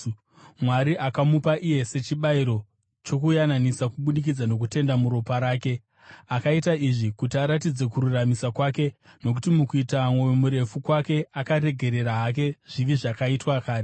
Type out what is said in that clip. Mwari akamupa iye sechibayiro chokuyananisa kubudikidza nokutenda muropa rake. Akaita izvi kuti aratidze kururamisira kwake, nokuti mukuita mwoyo murefu kwake akaregerera hake zvivi zvakaitwa kare.